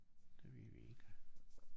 Det ved vi ikke